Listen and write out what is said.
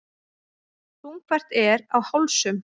Þungfært er á hálsum.